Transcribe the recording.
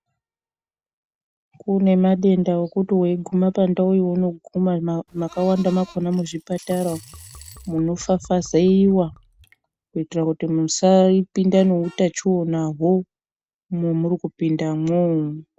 Kune madenda okuti weiguma pandau younoguma makawanda makona muzvipatara umu, munofafazeiya kuitira kuti musapinda neutachionaho momwuri kupindamwo.